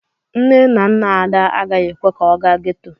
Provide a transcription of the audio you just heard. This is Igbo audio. Nne na nna Ada agaghị ekwe ka ọ gaa ghetto.